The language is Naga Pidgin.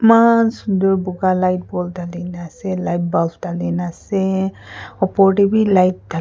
eman sunder boga light bulb tarte tangi kini ase light bulb tagni kini ase opor te light tha--